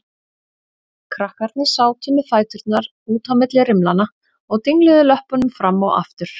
Krakkarnir sátu með fæturna út á milli rimlanna og dingluðu löppunum fram og aftur.